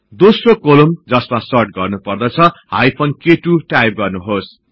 दोस्रो कोलम्न जसमा सर्ट गर्नुपर्दछ हाईफन क2 टाईप गर्नुहोस्